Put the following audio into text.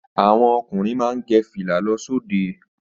Àwọn ọkùnrin má ń gẹ fìlà lọ sí òde